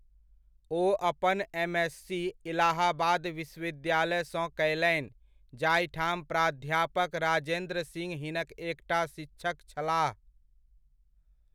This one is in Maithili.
ओ अपन एमएससी इलाहाबाद विश्वविद्यालयसँ कयलनि जाहिठाम प्राध्यापक राजेन्द्र सिंह हिनक एकटा शिक्षक छलाह।